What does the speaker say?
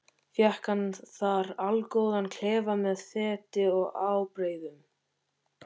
Fékk hann þar allgóðan klefa með fleti og ábreiðum.